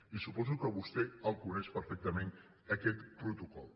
i suposo que vostè el coneix perfectament aquest protocol